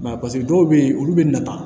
Mɛ paseke dɔw bɛ yen olu bɛ nata